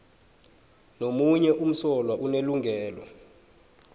nomunye umsolwa unelungelo